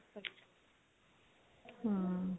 ਹਮ